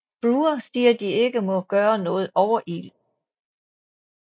Brewer siger de ikke må gøre noget overillet